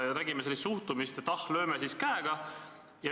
Nägime sellist suhtumist, et ah, lööme siis käega.